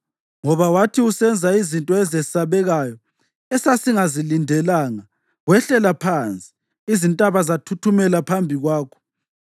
Ngoba wathi usenza izinto ezesabekayo esasingazilindelanga, wehlela phansi, izintaba zathuthumela phambi kwakho.